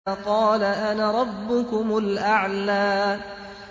فَقَالَ أَنَا رَبُّكُمُ الْأَعْلَىٰ